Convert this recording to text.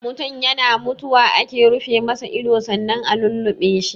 Mutun yana mutuwa ake rufe masa ido sannan a lulluɓe shi.